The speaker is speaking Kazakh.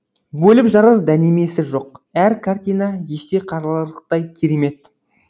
бөліп жарар дәнемесі жоқ әр картина есте қаларлықтай керемет